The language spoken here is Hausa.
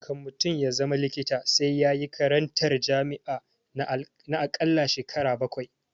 Kan mutum ya zama likita sai yayi makarantar jami'a na akalla shekara bakwai